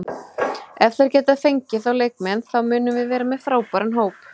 Ef þeir geta fengið þá leikmenn þá munum við vera með frábæran hóp.